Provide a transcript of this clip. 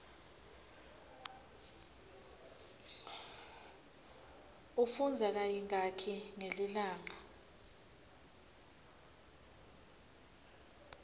ufundza kayingaki ngelilanga